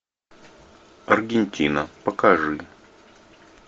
аргентина покажи